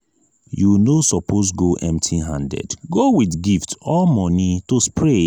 you no suppose go empty handed go with gift or money to spray